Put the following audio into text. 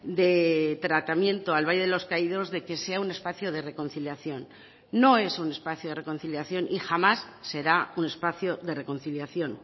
de tratamiento al valle de los caídos de que sea un espacio de reconciliación no es un espacio de reconciliación y jamás será un espacio de reconciliación